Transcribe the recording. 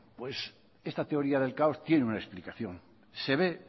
esta teoría del caos tiene una explicación se ve